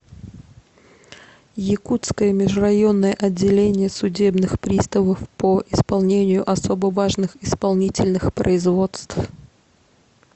якутское межрайонное отделение судебных приставов по исполнению особо важных исполнительных производств